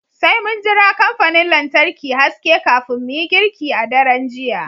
Sai mun jira kamfanin lantarki haske kafin mu yi girki a daren jiya